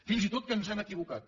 fins i tot que ens hem equivocat